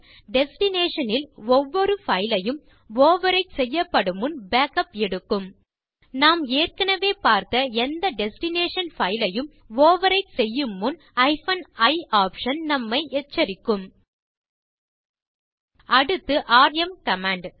destination ல் ஒவ்வொரு பைல் யும் ஓவர்விரைட் செய்யப்படும் முன் பேக்கப் எடுக்கும் நாம் ஏற்கனவே பார்த்த எந்த டெஸ்டினேஷன் பைல் யும் ஓவர்விரைட் செய்யும் முன் i ஆப்ஷன் நம்மை எச்சரிக்கும் அடுத்தது ராம் கமாண்ட்